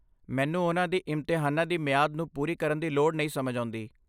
ਮੈਨੂੰ ਉਨ੍ਹਾਂ ਦੀ ਇਮਤਿਹਾਨਾਂ ਦੀ ਮਿਆਦ ਨੂੰ ਪੂਰੀ ਕਰਨ ਦੀ ਲੋੜ ਨਹੀਂ ਸਮਝ ਆਉਂਦੀ ।